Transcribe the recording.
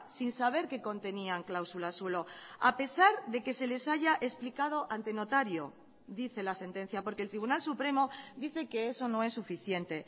sin saber que contenían cláusulas suelo a pesar de que se les haya explicado ante notario dice la sentencia porque el tribunal supremo dice que eso no es suficiente